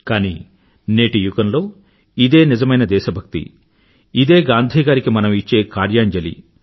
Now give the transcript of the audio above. కానీ నేటి యుగంలో ఇదే నిజమైన దేశభక్తి ఇదే గాంధీ గారికి మనం ఇచ్చే కార్యాంజలి